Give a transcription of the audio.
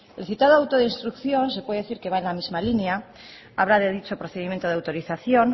el citado auto de instrucción se puede decir que va en la misma línea habla de dicho procedimiento de autorización